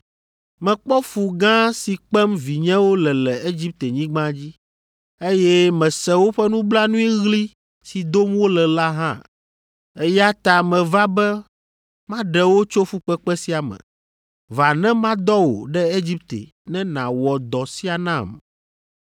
Mekpɔ fu gã si kpem vinyewo le le Egiptenyigba dzi, eye mese woƒe nublanuiɣli si dom wole la hã, eya ta meva be maɖe wo tso fukpekpe sia me. Va ne madɔ wò ɖe Egipte ne nàwɔ dɔ sia nam.’